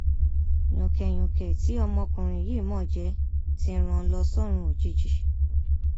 yùnkẹyúnkẹ tí ọmọkùnrin yìí mọ ọn jẹ ti rán an lọ sọrun òjijì